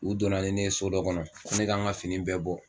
U donna ni ne ye so dɔ kɔnɔ, ko ne kan ka fini bɛɛ bɔ